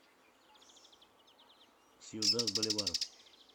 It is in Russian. сьюдад боливар